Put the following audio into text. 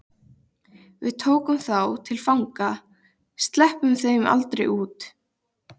Við tökum þá til fanga. sleppum þeim aldrei út.